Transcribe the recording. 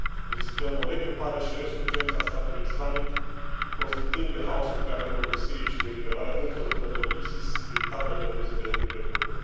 Riscăm o regrupare și resurgență a Statului Islamic, profitând de haosul creat în nordul Siriei și de eliberarea multor luptători ISIS din taberele păzite de trupele kurde.